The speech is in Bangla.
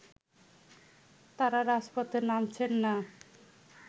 তারা রাজপথে নামছেন না